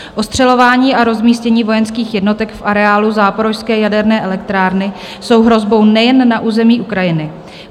Ostřelování a rozmístění vojenských jednotek v areálu Záporožské jaderné elektrárny jsou hrozbou nejen na území Ukrajiny.